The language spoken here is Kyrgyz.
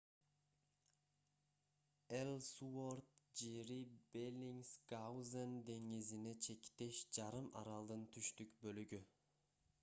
эллсуорт жери беллингсгаузен деңизине чектеш жарым аралдын түштүк бөлүгү